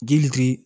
Ji litiri